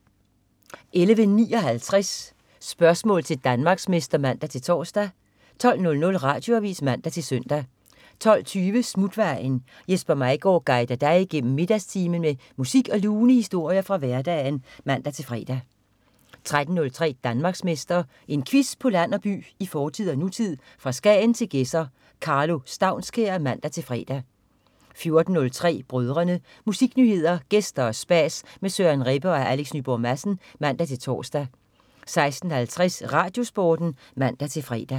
11.59 Spørgsmål til Danmarksmester (man-tors) 12.00 Radioavis (man-søn) 12.20 Smutvejen. Jesper Maigaard guider dig igennem middagstimen med musik og lune historier fra hverdagen (man-fre) 13.03 Danmarksmester. En quiz på land og by, i fortid og nutid, fra Skagen til Gedser. Karlo Staunskær (man-fre) 14.03 Brødrene. Musiknyheder, gæster og spas med Søren Rebbe og Alex Nyborg Madsen (man-tors) 16.50 RadioSporten (man-fre)